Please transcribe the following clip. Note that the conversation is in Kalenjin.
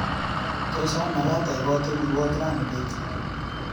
Tos amakaat aipate murwoot rani bet?